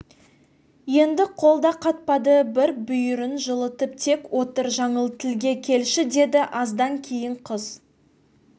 енді қол да қатпады бір бүйірін жылытып тек отыр жаңыл тілге келші деді аздан кейін қыз